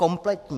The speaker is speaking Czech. Kompletní.